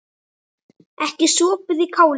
Ekki sopið í kálið.